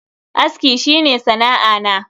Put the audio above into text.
Aski shi ne sana'a na.